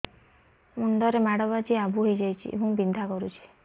ମୁଣ୍ଡ ରେ ମାଡ ବାଜି ଆବୁ ହଇଯାଇଛି ଏବଂ ବିନ୍ଧା କରୁଛି